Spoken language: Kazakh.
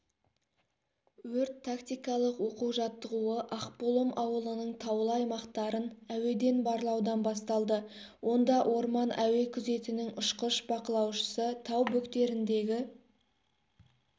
өрт-тактикалық оқу-жаттығуы ақбұлым ауылының таулы аймақтарын әуеден барлаудан басталды онда орман әуе күзетінің ұшқыш-бақылаушысы тау бөктеріндегі